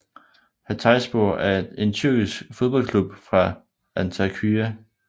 Hatayspor er en tyrkisk fodboldklub fra Antakya